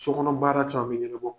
Sokɔnɔ baara caman bɛ ɲɛnabɔ.